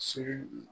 Sini